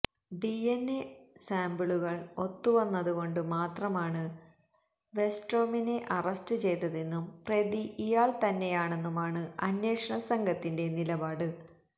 DNA സാംപിളുകൾ ഒത്തുവന്നതു കൊണ്ടു മാത്രമാണ് വെസ്റ്റ്രോമിനെ അറസ്റ്റ് ചെയ്തതെന്നും പ്രതി ഇയാൾതന്നെയാണെന്നുമാണു അന്വേഷണ സംഘത്തിന്റെ നിലപാട്